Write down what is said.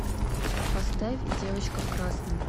поставь девочка в красном